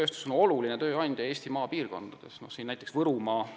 Metsa- ja puidutööstus on Eesti maapiirkondades oluline tööandja.